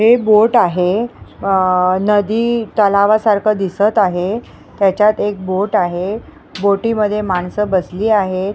हे बोट आहे अह नदी तलावासारखं दिसत आहे त्याच्यात एक बोट आहे बोटी मध्ये माणसं बसली आहेत.